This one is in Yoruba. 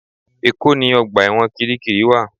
Èkó ni ọgbà ẹ̀wọ̀n Kiríkirì wà